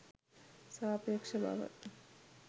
සාපේක්ෂ බව